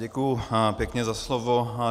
Děkuji pěkně za slovo.